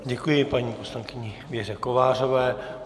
Děkuji paní poslankyni Věře Kovářové.